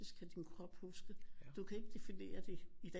Kan din krop huske du kan ikke definere det i dag